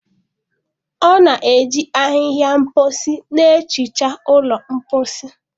Ọ na-eji ahịhịa mposi na-ehicha ụlọ mposi.